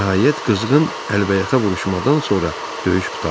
Nəhayət, qızğın əlbəyaxa vuruşmadan sonra döyüş qurtardı.